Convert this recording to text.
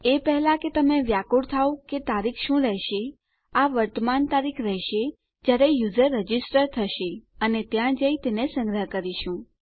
એ પહેલા કે તમે વ્યાકુળ થાવ કે તારીખ શું રહેશે આ વર્તમાન તારીખ રહેશે જયારે યુઝર રજીસ્ટર કરશે અને ત્યાં જઈ તેને સંગ્રહીત કરીશું